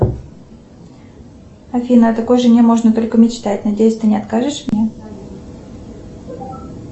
афина о такой жене можно только мечтать надеюсь ты не откажешь мне